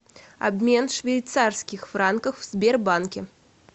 обмен швейцарских франков в сбербанке